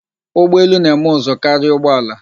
Ugbọelu na-eme ụzụ karia ụgbọala.